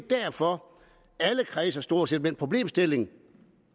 derfor at alle kredse stort set den problemstilling